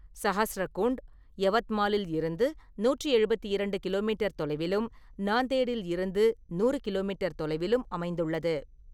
சஹஸ்ரகுண்ட் யவத்மாலில் இருந்து நூற்றி எழுபத்தி இரண்டு கிலோ மீட்டர் தொலைவிலும், நாந்தேடில் இருந்து நூறு கிலோமீட்டர் தொலைவிலும் அமைந்துள்ளது.